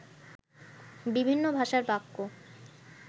বিভিন্ন ভাষার বাক্য